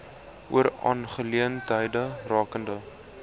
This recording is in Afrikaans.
oor aangeleenthede rakende